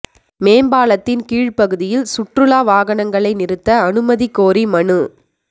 மேம்பாலத்தின் கீழ் பகுதியில் சுற்றுலா வாகனங்களை நிறுத்த அனுமதி கோரி மனு